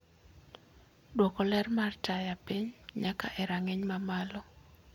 duoko ler mar taya piny nyaka e rang'iny mamalo